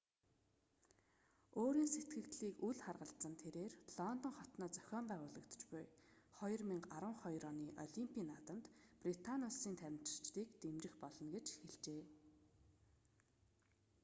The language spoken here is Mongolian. өөрийн сэтгэгдлийг үл харгалзан тэрээр лондон хотноо зохин байгуулагдаж буй 2012 оны олимпийн наадамд британи улсын тамирчдыг дэмжих болно гэж хэлжээ